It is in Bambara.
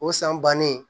O san bannen